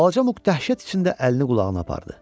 Balaca Muq dəhşət içində əlini qulağına apardı.